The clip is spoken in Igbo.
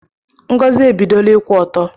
Ngozi ebidola ikwu ọtọ